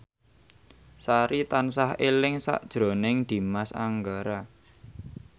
Sari tansah eling sakjroning Dimas Anggara